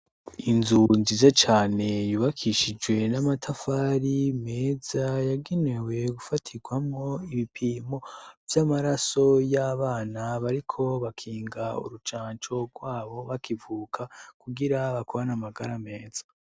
Inzu nzije cane yubakishijwe n'amatafari meza yagenewe gufatirwamwo ibipimo vy'amaraso y'abana bariko bakinga urucanco rwabo bakivuka kugira bakorana magara meza.